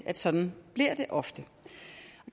at sådan bliver det ofte